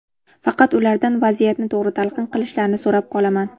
Faqat ulardan vaziyatni to‘g‘ri talqin qilishlarini so‘rab qolaman.